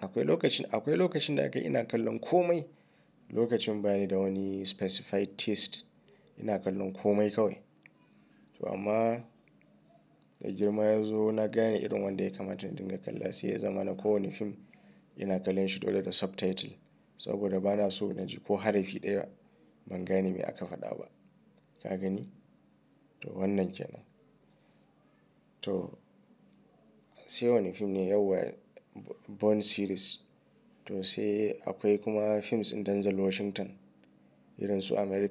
Akwai lokacin, akwai lokacin da aka yi ina kallon komai. Lokacin ba ni da wani specified taste ina kallon komai kawai. To amma da girma yazo na gane irin wanda ya kamata in dinga kalla sai ya zama na kowane fim ina kallon shi dole da subtitle. Eh, ina son wannan sosai. Eh, sai action kuma, sai kuma thriller. Eh, sai thriller wanda zai sa ku yi ta zarge-zarge, ku rasa gane. Ka gani? To wannan kenan. To sai wani fim ne yau wa Bourne series. To sai akwai kuma films ɗin Denzel Washington, irinsu American-